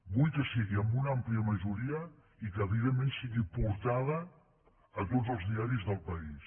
vull que sigui amb una àmplia majoria i que evidentment sigui portada a tots els diaris del país